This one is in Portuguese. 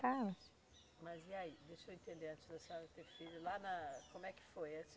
Anos. Mas e aí, deixa eu entender, antes da senhora ter filho, lá na, como é que foi? A